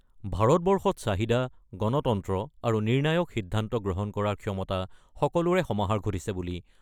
ভাৰতবৰ্ষত চাহিদা, গণতন্ত্ৰ আৰু নিৰ্ণায়ক সিদ্ধান্ত গ্ৰহণ কৰাৰ ক্ষমতা সকলোৰে সমাহাৰ ঘটিছে বুলি